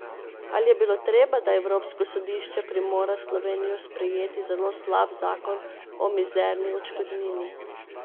Ali je bilo treba, da evropsko sodišče primora Slovenijo sprejeti zelo slab zakon o mizerni odškodnini?